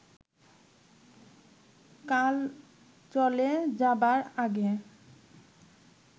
কাল চলে যাবার আগে